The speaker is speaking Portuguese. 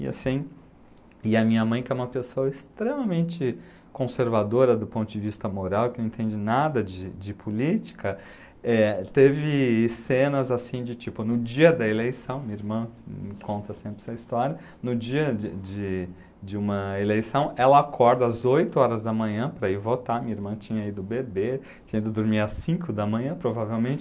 E assim, e a minha mãe, que é uma pessoa extremamente conservadora do ponto de vista moral, e que não entende nada de de política, eh teve cenas assim de tipo, no dia da eleição, minha irmã me conta sempre essa história, no dia de de de uma eleição, ela acorda às oito horas da manhã para ir votar, minha irmã tinha ido beber, tinha ido dormir às cinco da manhã, provavelmente,